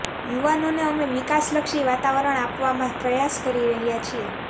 યુવાનોને અમે વિકાસલક્ષી વાતાવરણ આપવાના પ્રયાસ કરી રહ્યા છીએ